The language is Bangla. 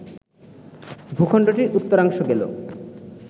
ভূখণ্ডটির উত্তরাংশ গেল